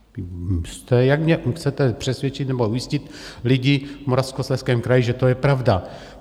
Jak mě chcete přesvědčit nebo ujistit lidi v Moravskoslezském kraji, že to je pravda?